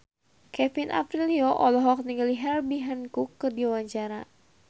Kevin Aprilio olohok ningali Herbie Hancock keur diwawancara